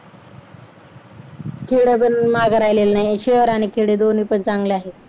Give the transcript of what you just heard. खेडे पण मागे राहिलेली नाहीये. शहर आणि खेडे दोन्हीपण चांगले आहे.